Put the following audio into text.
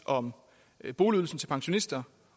om boligydelsen til pensionister